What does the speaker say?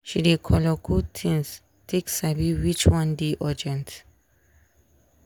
she dey color code things take sabi which one dey urgent.